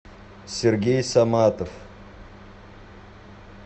сергей саматов